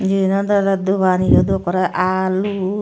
eyan olode dogan eyodo ekkore alu.